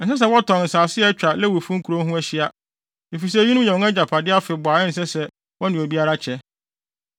Ɛnsɛ sɛ wɔtɔn nsase a atwa Lewifo no nkurow ho ahyia, efisɛ eyinom yɛ wɔn agyapade afebɔɔ a ɛnsɛ sɛ wɔne obiara kyɛ.